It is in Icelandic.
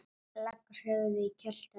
Leggur höfuðið í kjöltu hennar.